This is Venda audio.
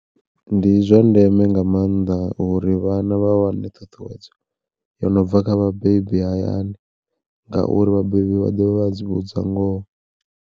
Ndi zwa ndeme nga maanḓa uri vhana vha wane thuthuwedzo, yo no bva kha vhabebi hayani ngauri vhabebi vha ḓovha vha tsivhudza ngoho.